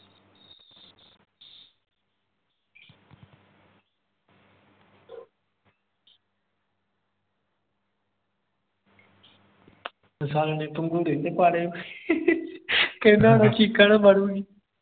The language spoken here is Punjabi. ਸਾਲ਼ੇ ਨੇ ਪੰਗੁੜੇ ਤੇ ਪਾ ਲਏ ਕਹਿੰਦਾ ਹੋਣਾ ਚੀਕਾਂ ਨਾ ਮਾਰੂੰਗੀ।